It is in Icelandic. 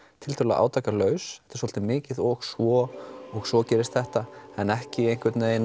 tiltölulega átakalaus þetta er svolítið mikið og svo og svo gerist þetta en ekki